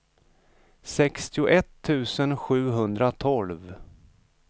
sextioett tusen sjuhundratolv